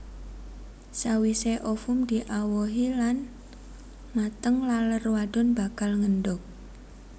Sawisé ovum diawohi lan mateng laler wadon bakal ngendhog